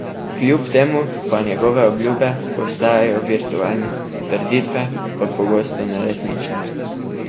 Kljub temu pa njegove obljube ostajajo virtualne, trditve pa pogosto neresnične.